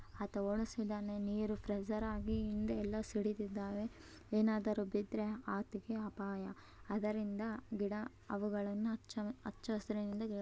ಆತ ಓಡುಸ್ತಿದ್ದಾನೆ ನೀರು ಪ್ರಜರ್ ಆಗಿ ಹಿಂದೆ ಎಲ್ಲ ಸಿಡಿತಿದ್ದಾವೆ ಏನಾದ್ರೂ ಬಿದ್ರೆ ಆತಗೆ ಅಪಾಯ ಆದ್ದರಿಂದ ಗಿಡ ಅವುಗಳನ್ನ ಹಚ್ಚಸಿರಿನಿಂದ